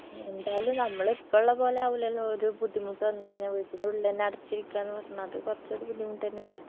എന്തായാലും നമ്മള് ഇപ്പുള്ള പോലെ ആവൂലല്ലോ ഒരു ബുദ്ധിമുട്ട് വന്ന് കഴിഞ്ഞാ വീറ്റിന്റുള്ളിലെന്നെ അടച്ചിരിക്കാന്ന് പറഞ്ഞാ അത് കൊറച്ചൊരു ബുദ്ധിമുട്ടെന്നെല്ലേ